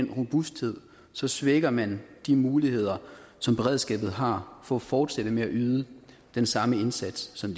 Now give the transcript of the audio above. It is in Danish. den robusthed så svækker man de muligheder som beredskabet har for at fortsætte med at yde den samme indsats som